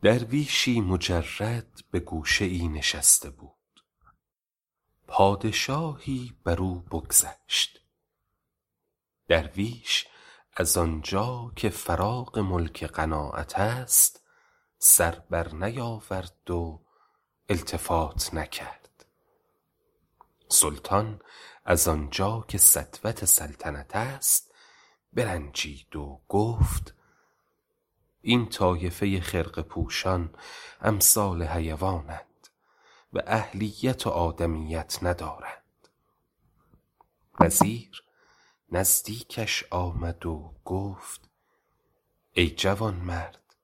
درویشی مجرد به گوشه ای نشسته بود پادشاهی بر او بگذشت درویش از آنجا که فراغ ملک قناعت است سر بر نیاورد و التفات نکرد سلطان از آنجا که سطوت سلطنت است برنجید و گفت این طایفه خرقه پوشان امثال حیوان اند و اهلیت و آدمیت ندارند وزیر نزدیکش آمد و گفت ای جوانمرد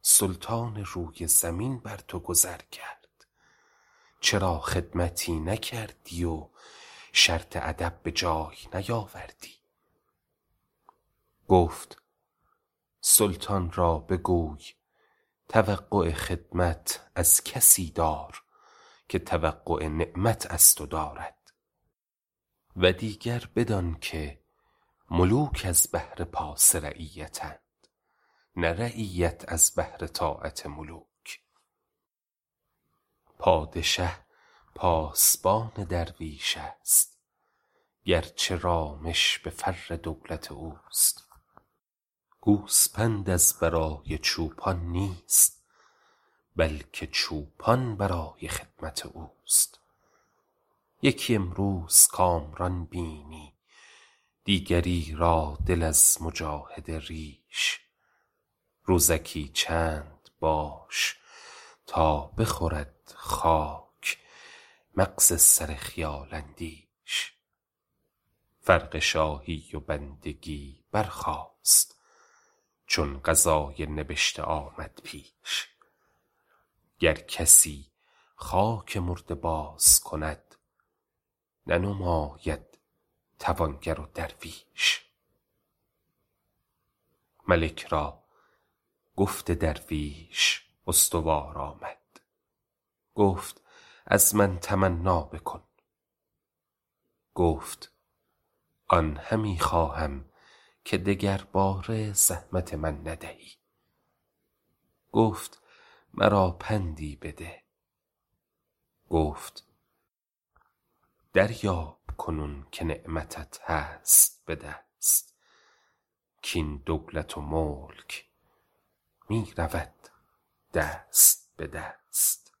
سلطان روی زمین بر تو گذر کرد چرا خدمتی نکردی و شرط ادب به جای نیاوردی گفت سلطان را بگوی توقع خدمت از کسی دار که توقع نعمت از تو دارد و دیگر بدان که ملوک از بهر پاس رعیت اند نه رعیت از بهر طاعت ملوک پادشه پاسبان درویش است گرچه رامش به فر دولت اوست گوسپند از برای چوپان نیست بلکه چوپان برای خدمت اوست یکی امروز کامران بینی دیگری را دل از مجاهده ریش روزکی چند باش تا بخورد خاک مغز سر خیال اندیش فرق شاهی و بندگی برخاست چون قضای نبشته آمد پیش گر کسی خاک مرده باز کند ننماید توانگر و درویش ملک را گفت درویش استوار آمد گفت از من تمنا بکن گفت آن همی خواهم که دگرباره زحمت من ندهی گفت مرا پندی بده گفت دریاب کنون که نعمتت هست به دست کاین دولت و ملک می رود دست به دست